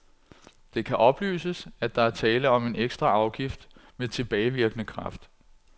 Det kan oplyses, at der er tale om en ekstra afgift med tilbagevirkende kraft.